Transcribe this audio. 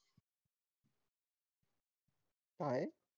काय